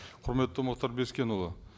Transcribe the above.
құрметті мұхтар бескенұлы